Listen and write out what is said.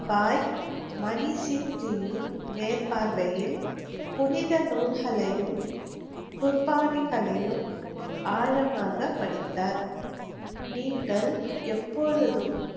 பாய் மணிசிங்ஜியின் மேற்பார்வையில் புனித நூல்களையும், குர்பானிகளையும் ஆழமாக படித்தார். நீங்கள் எப்பொழுதும்,